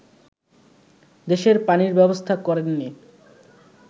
দেশের পানির ব্যবস্থা করেননি